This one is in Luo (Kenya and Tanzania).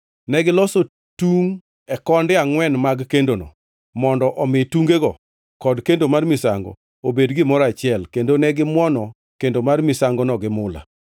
Negiloso tungʼ e konde angʼwen mag kendono, mondo omi tungego kod kendo mar misango obed gimoro achiel, kendo ne gimuono kendo mar misangono gi mula.